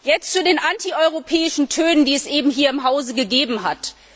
Jetzt zu den antieuropäischen Tönen, die es eben hier im Hause gegeben hat.